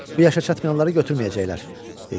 Bu yaşa çatmayanları götürməyəcəklər," dedi.